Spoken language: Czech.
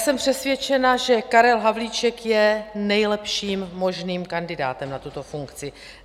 Jsem přesvědčena, že Karel Havlíček je nejlepším možným kandidátem na tuto funkci.